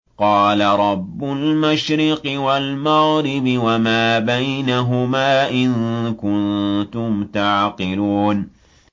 قَالَ رَبُّ الْمَشْرِقِ وَالْمَغْرِبِ وَمَا بَيْنَهُمَا ۖ إِن كُنتُمْ تَعْقِلُونَ